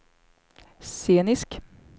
scenisk